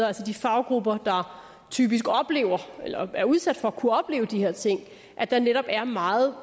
altså de faggrupper der typisk er udsat for at kunne opleve de her ting at der netop er meget